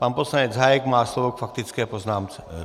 Pan poslanec Hájek má slovo k faktické poznámce.